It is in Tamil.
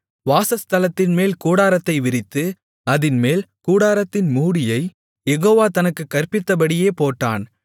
வாசஸ்தலத்தின்மேல் கூடாரத்தை விரித்து அதின்மேல் கூடாரத்தின் மூடியை யெகோவா தனக்குக் கற்பித்தபடியே போட்டான்